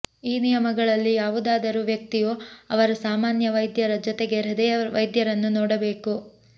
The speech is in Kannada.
ಈ ನಿಯಮಗಳಲ್ಲಿ ಯಾವುದಾದರೂ ವ್ಯಕ್ತಿಯು ಅವರ ಸಾಮಾನ್ಯ ವೈದ್ಯರ ಜೊತೆಗೆ ಹೃದಯ ವೈದ್ಯರನ್ನು ನೋಡಬೇಕು